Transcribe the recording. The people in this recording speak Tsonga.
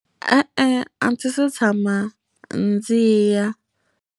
E-e a ndzi se tshama ndzi ya.